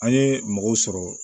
An ye mɔgɔw sɔrɔ